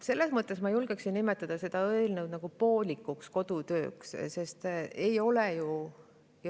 Selles mõttes ma julgeksin nimetada seda eelnõuga kodutööd poolikuks.